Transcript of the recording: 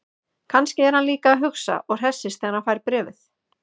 Kannski er hann líka að hugsa og hressist þegar hann fær bréfið.